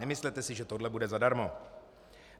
Nemyslete si, že tohle bude zadarmo.